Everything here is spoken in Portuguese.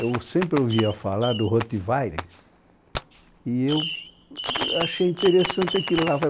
Eu sempre ouvia falar do Rottweiler e eu achei interessante aquilo lá.